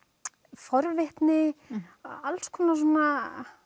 forvitni alls konar svona